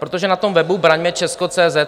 Protože na tom webu Branmecesko.cz